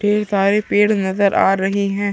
ढेर सारे पेड़ नजर आ रहे है।